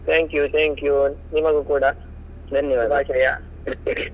Thank you thank you ನಿಮಗೂ ಕೂಡ ಶುಭಾಶಯ .